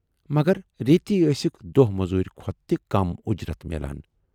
مگر ریتۍ ٲسٕکھ دۅہ موزوٗرۍ کھۅتہٕ تہِ کم اُجرتھ میلان۔